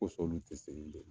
Ko sɔn olu tɛ segin bilen